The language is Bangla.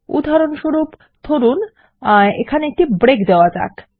উদাহরণস্বরূপ ধরুন এখানে একটি ব্রেক দেওয়া যাক